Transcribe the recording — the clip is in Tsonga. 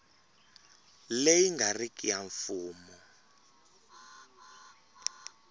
leyi nga riki ya mfumo